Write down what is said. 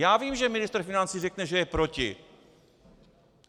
Já vím, že ministr financí řekne, že je proti.